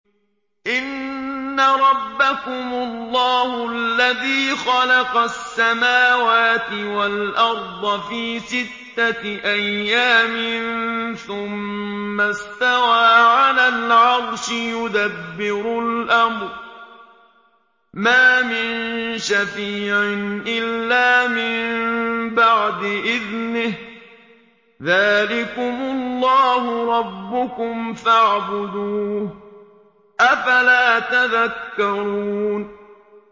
إِنَّ رَبَّكُمُ اللَّهُ الَّذِي خَلَقَ السَّمَاوَاتِ وَالْأَرْضَ فِي سِتَّةِ أَيَّامٍ ثُمَّ اسْتَوَىٰ عَلَى الْعَرْشِ ۖ يُدَبِّرُ الْأَمْرَ ۖ مَا مِن شَفِيعٍ إِلَّا مِن بَعْدِ إِذْنِهِ ۚ ذَٰلِكُمُ اللَّهُ رَبُّكُمْ فَاعْبُدُوهُ ۚ أَفَلَا تَذَكَّرُونَ